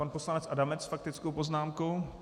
Pan poslanec Adamec s faktickou poznámkou.